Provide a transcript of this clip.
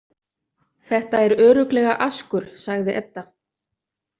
Þetta er örugglega askur, sagði Edda.